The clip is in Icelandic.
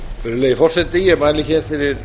virðulegi forseti ég mæli hér fyrir